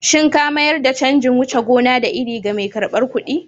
Shin ka mayar da canjin wuce gona da iri ga mai karbar kuɗi?